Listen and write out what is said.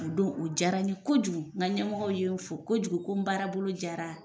O don o diyara n ye kojugu nka ɲɛmɔgɔw ye fo kojugu ko n baarabolo diyara